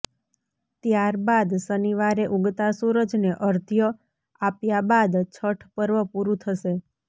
ત્યારબાદ શનિવારે ઉગતા સૂરજને અર્ધ્ય આપ્યા બાદ છઠ પર્વ પૂરું થશે